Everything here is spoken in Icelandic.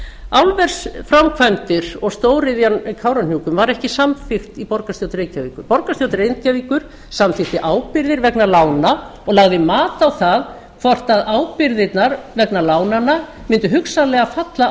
álversframkvæmdir og stóriðjan við kárahnjúka var ekki samþykkt í borgarstjórn reykjavíkur borgarstjórn reykjavíkur samþykkti ábyrgðir vegna lána og lagði mat á það hvort ábyrgðirnar vegna lánanna mundu hugsanlega falla á